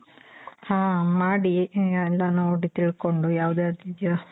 ಹ ಮಾಡಿ ಎಲ್ಲ ನೋಡಿ ತಿಳ್ಕೊಂಡು ಯಾವ್ದ್ ಯಾವ್ದಿದಿಯೋ